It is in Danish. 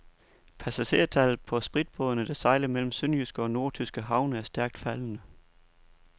Passagertallet på spritbådene, der sejler mellem sønderjyske og nordtyske havne, er stærkt faldende.